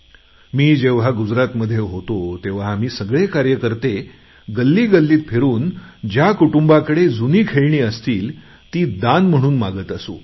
मी जेव्हा गुजरातमध्ये होतोतेव्हा आम्ही सगळे कार्यकर्ते गल्लीगल्लीत फिरून ज्या कुटुंबांकडे जुनी खेळणी असतील ती दान म्हणून मागत असू